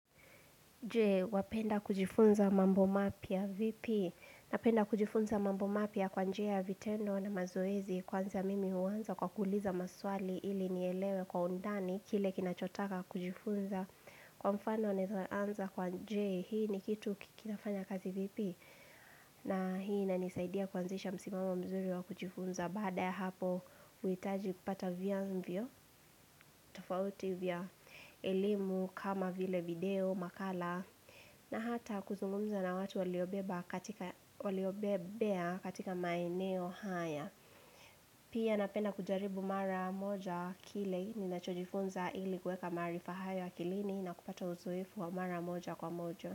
Jee, wapenda kujifunza mambo mapya vipi Napenda kujifunza mambo mapia kwa njia ya vitendo na mazoezi Kwanza mimi huanza kwa kuuliza maswali ili nielewe kwa undani Kile kinachotaka kujifunza Kwa mfano naeza anza kwa jee, hii ni kitu kinafanya kazi vipi na hii inanisaidia kuanzisha msimamo mzuri wa kujifunza Baada ya hapo, huitaji kupata vya mvyo tofauti vya elimu kama vile video, makala na hata kuzungumza na watu waliobebea katika maeneo haya Pia napenda kujaribu mara moja kile Ninachojifunza ili kueka maarifa haya akilini na kupata uzoefu wa mara moja kwa moja.